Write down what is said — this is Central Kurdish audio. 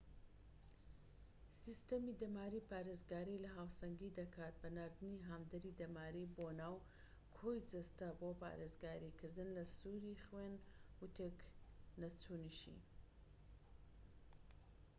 سیستەمی دەماری پارێزگاری لە هاوسەنگی دەکات بە ناردنی هاندەری دەماری بۆ ناو کۆی جەستە بۆ پارێزگاریکردن لە سووڕی خوێن و تێک نەچوونیشی